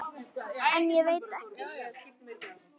En ég veit ekki.